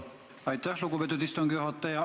Aitäh, lugupeetud istungi juhataja!